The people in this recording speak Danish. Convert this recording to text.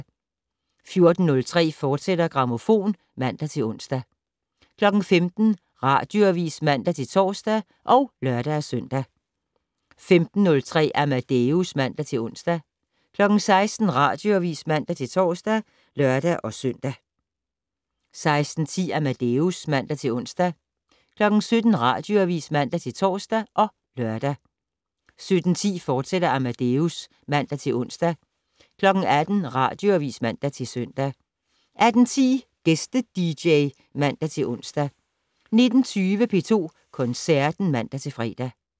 14:03: Grammofon, fortsat (man-ons) 15:00: Radioavis (man-tor og lør-søn) 15:03: Amadeus (man-ons) 16:00: Radioavis (man-tor og lør-søn) 16:10: Amadeus (man-ons) 17:00: Radioavis (man-tor og lør) 17:10: Amadeus, fortsat (man-ons) 18:00: Radioavis (man-søn) 18:10: Gæste-dj (man-ons) 19:20: P2 Koncerten (man-fre)